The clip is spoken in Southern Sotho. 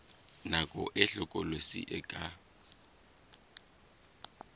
nako e hlokolosi e ka